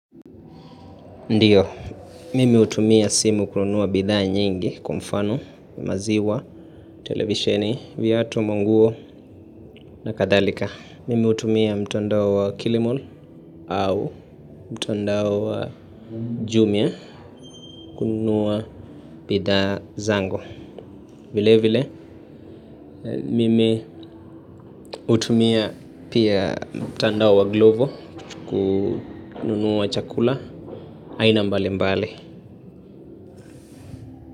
Ndiyo, mimi hutumia simu kununua bidhaa nyingi kwa mfano, maziwa, televisheni, viatu, manguo na kadhalika. Mimi hutumia mtandao wa wa Kilimall au mtandao wa Jumia kunua bidhaa zangu. Vile vile, mimi hutumia pia mtandao wa Glovo kununua chakula aina mbali mbali.